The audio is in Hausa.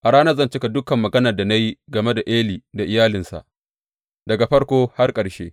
A ranar zan cika dukan maganar da na yi game da Eli da iyalinsa, daga farko har ƙarshe.